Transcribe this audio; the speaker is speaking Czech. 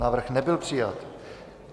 Návrh nebyl přijat.